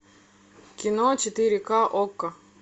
кино четыре ка окко